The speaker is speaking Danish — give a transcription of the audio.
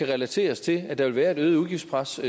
relateres til at der vil være et øget udgiftspres